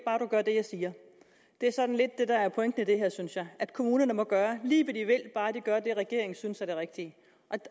bare du gør det jeg siger det er sådan lidt det der er pointen i det her synes jeg at kommunerne må gøre lige hvad de vil bare de gør det regeringen synes er det rigtige